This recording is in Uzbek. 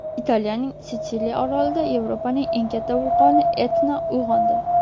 Italiyaning Sitsiliya orolida Yevropaning eng katta vulqoni Etna uyg‘ondi.